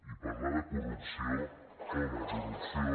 i parlar de corrupció home corrupció